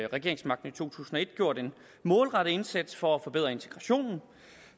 regeringsmagten i to tusind og et gjort en målrettet indsats for at forbedre integrationen